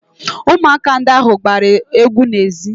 Ụmụaka ndị ahụ gbara egwu n'ezi